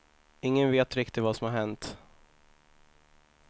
Ingen vet riktigt vad som har hänt.